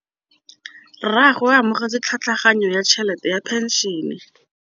Rragwe o amogetse tlhatlhaganyô ya tšhelête ya phenšene.